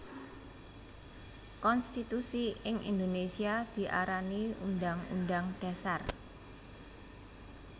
Konstitusi ing Indonesia diarani Undhang Undhang Dhasar